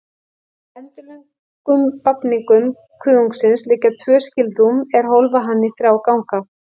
Eftir endilöngum vafningum kuðungsins liggja tvö skilrúm, er hólfa hann í þrjá ganga.